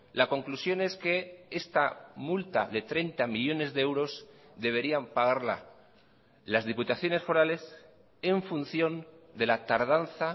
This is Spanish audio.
la conclusión es que esta multa de treinta millónes de euros deberían pagarla las diputaciones forales en función de la tardanza